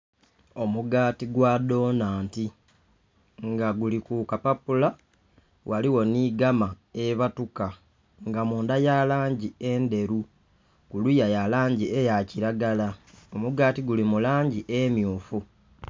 Omugaati gwa dhonanti nga giri ku kapapula ghaligho nhi gama ebandhuka, nga munda ya langi endheru, kuliya ya langi eya kiragala omugaati guli mu langi emyufu.